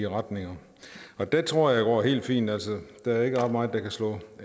retning og det tror jeg går helt fint altså der er ikke ret meget der kan slå